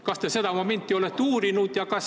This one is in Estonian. Kas te seda momenti olete uurinud?